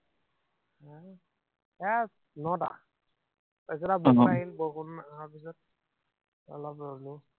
এৰ নটা। তাৰপিছত আৰু উম বৰষুণ আহিল, বৰষুণ অহাৰ পিছত অলপ ৰলো।